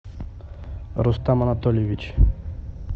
рустам анатольевич